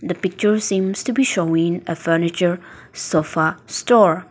The picture seems to be showing a furniture sofa store.